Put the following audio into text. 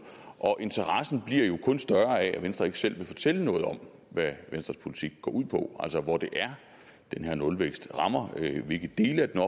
og interessen bliver jo kun større af at venstre ikke selv vil fortælle noget om hvad venstres politik går ud på altså hvor det er den her nulvækst rammer hvilke dele af den